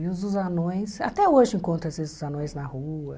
E os os anões, até hoje encontro, às vezes, os anões na rua.